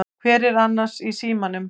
Hver var annars í símanum?